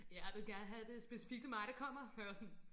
Ja du vil gerne have det specifikt mig der kommer hvor jeg var sådan